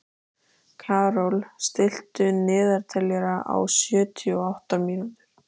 Karol, stilltu niðurteljara á sjötíu og átta mínútur.